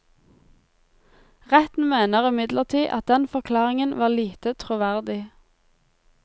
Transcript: Retten mener imidlertid at den forklaringen var lite troverdig.